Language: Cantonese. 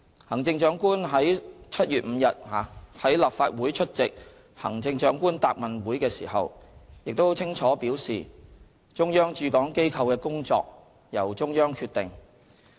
行政長官剛於7月5日到立法會出席行政長官答問會時，亦清楚表示，中央駐港機構的工作由中央決定。